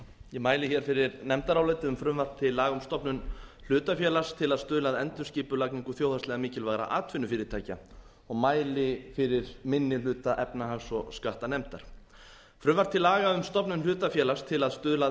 ég mæli hér fyrir nefndaráliti um frumvarp til laga um stofnun hlutafélags til að stuðla að endurskipulagning þjóðhagslega mikilvægra atvinnufyrirtækja og mæli fyrir minni hluta efnahags og skattanefndar frumvarp til laga um stofnun hlutafélags til að stuðla að